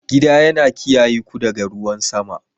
Gida yana kiyaye ku daga ruwan sama.